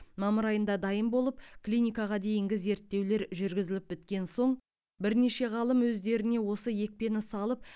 мамыр айында дайын болып клиникаға дейінгі зерттеулер жүргізіліп біткен соң бірнеше ғалым өздеріне осы екпені салып